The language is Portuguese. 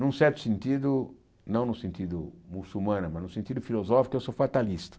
Num certo sentido, não no sentido muçulmano, mas no sentido filosófico, eu sou fatalista.